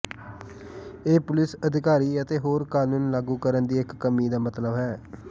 ਇਹ ਪੁਲਿਸ ਅਧਿਕਾਰੀ ਅਤੇ ਹੋਰ ਕਾਨੂੰਨ ਲਾਗੂ ਕਰਨ ਦੀ ਇੱਕ ਕਮੀ ਦਾ ਮਤਲਬ ਹੈ